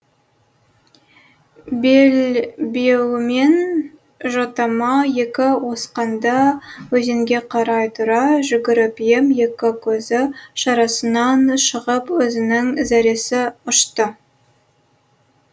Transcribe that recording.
белбеуімен жотама екі осқанда өзенге қарай тұра жүгіріп ем екі көзі шарасынан шығып өзінің зәресі ұшты